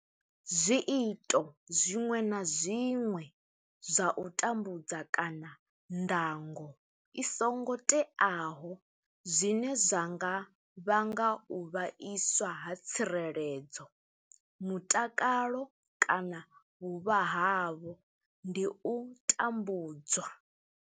Zwiito zwiṅwe na zwiṅwe zwa u tambudza kana ndango i songo teaho zwine zwa nga vhanga u vhaiswa ha tsireledzo, mutakalo kana vhuvha havho ndi u tambudzwa.